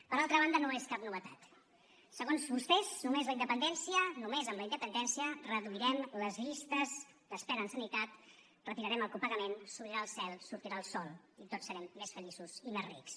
per altra banda no és cap novetat segons vostès només amb la independència reduirem les llistes d’espera en sanitat retirarem el copagament s’obrirà el cel sortirà el sol i tots serem més feliços i més rics